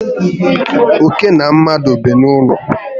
Óké na mmadụ bi n'ụlọ